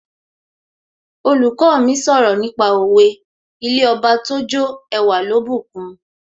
Olùkọ́ mi sọ̀rọ̀ nípa òwe 'ilé Ọba tójó ẹwà ló bùkun'